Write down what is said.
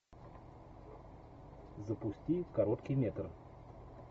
запусти короткий метр